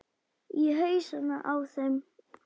Í hausana á þeim öllum.